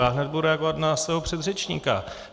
Já budu hned reagovat na svého předřečníka.